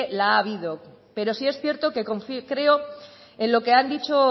la ha habido pero sí es cierto que confió y creo en lo que han dicho